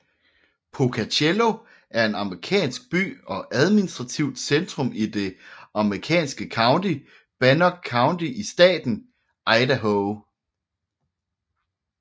Pocatello er en amerikansk by og admistrativt centrum i det amerikanske county Bannock County i staten Idaho